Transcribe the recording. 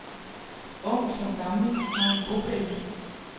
Ung som gammel har en bopæl.